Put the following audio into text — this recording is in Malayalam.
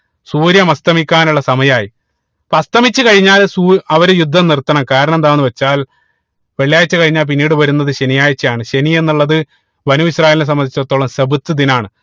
സൂര്യൻ അസ്തമിക്കാനുള്ള സമയായി അപ്പൊ അസ്തമിച്ച് കഴിഞ്ഞാൽ സൂ അവര് യുദ്ധം നിർത്തണം കാരണം എന്താന്ന് വെച്ചാൽ വെള്ളിയാഴ്ച കഴിഞ്ഞാൽ പിന്നീട് വരുന്നത് ശനിയാഴ്ചയാണ് ശനി എന്നുള്ളത് ബനൂ ഇസ്രായേൽനെ സംബന്ധിച്ചടുത്തോളം ദിനാണ്